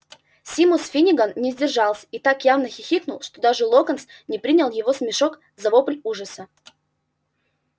симус финниган не сдержался и так явно хихикнул что даже локонс не принял его смешок за вопль ужаса